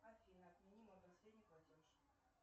афина отмени мой последний платеж